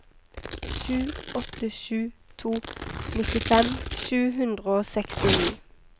sju åtte sju to nittifem sju hundre og sekstini